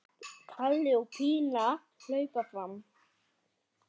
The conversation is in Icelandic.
Palli og Pína hlaupa fram.